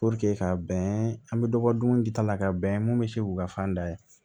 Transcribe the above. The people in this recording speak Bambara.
ka bɛn an be dɔ bɔ dumuni dita la ka bɛn mun be se k'u ka fan da ye